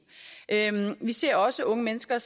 vi ser også unge mennesker